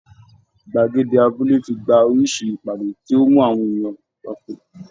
Gbàgede abúlé ti gba oríṣi ìpàdé tí ó mú àwọn ènìyàn papọ̀